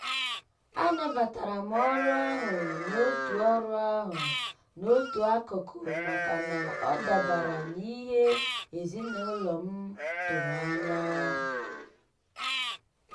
a nabatara m orụ ahụ n'otu orụ ahụ n'otu akụkụ maka na ọ dabara n'ihe ezinaụlọ m tụrụ anya.